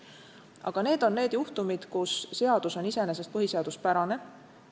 Aga need on juhtumid, kus seadus on iseenesest põhiseaduspärane.